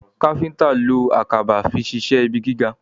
kápẹ́ńtà ló Àkàbà fí ṣiṣe ibí gíga.